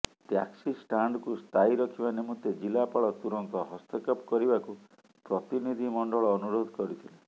ଟ୍ୟାକ୍ସିଷ୍ଟାଣ୍ଡକୁ ସ୍ଥାୟୀ ରଖିବା ନିମନ୍ତେ ଜିଲ୍ଲାପାଳ ତୁରନ୍ତ ହସ୍ତକ୍ଷେପ କରିବାକୁ ପ୍ରତିନିଧି ମଣ୍ଡଳ ଅନୁରୋଧ କରିଥିଲେ